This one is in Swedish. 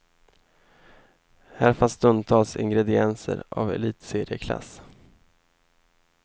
Här fanns stundtals ingredienser av elitserieklass.